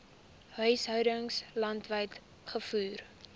huishoudings landwyd gevoer